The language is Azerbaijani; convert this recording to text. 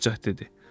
Padşah dedi: